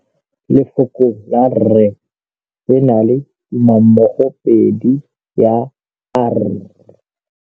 Lefoko la rre, le na le tumammogôpedi ya, r.